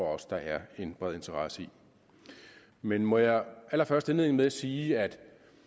også der er en bred interesse i men må jeg allerførst indlede med at sige at